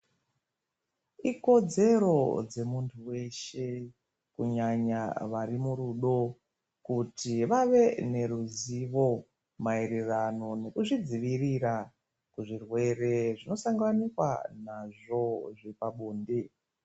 Ikodzero dzemuntu weshe kunyanya vari murudo kuti vave neruzivo maererano kuzvidzivirira kuzvirwere zvinosanganikwa nazvo zvepabonde.